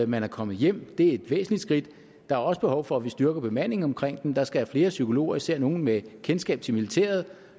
man er kommet hjem det er et væsentligt skridt der er også behov for at vi styrker bemandingen omkring dem der skal være flere psykologer især nogle med kendskab til militæret